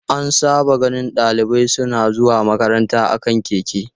An saba ganin dalibai suna zuwa makaranta a kan keke.